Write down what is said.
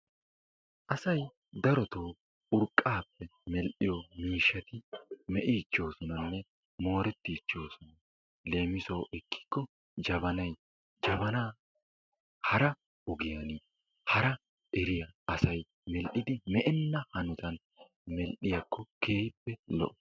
Asay darotoo urqqaappe medhdhiyo miishshati meqqiichchoosonanne moorettiichchoosona. Leemisuwawu ekkikko jabanay, jabanaa hara asay hara eriyo ogiyan medhdhidi me'enna hanotan medhdhiyakko lo"o.